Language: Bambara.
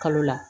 Kalo la